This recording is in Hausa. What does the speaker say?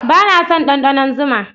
Ba na son ɗanɗanon zuma